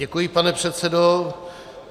Děkuji, pane předsedo.